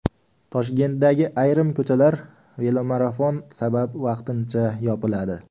Toshkentdagi ayrim ko‘chalar velomarafon sabab vaqtincha yopiladi.